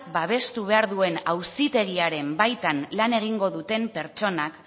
babestu behar duen auzitegiaren baitan lan egingo duten pertsonak